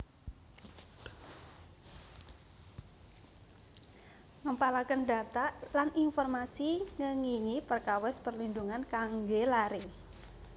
Ngempalaken data lan informasi ngengingi perkawis perlindhungan kangge lare